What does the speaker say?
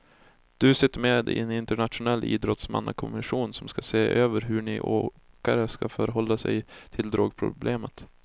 Du sitter med i en internationell idrottsmannakommission som ska se över hur ni åkare ska förhålla er till drogproblemet.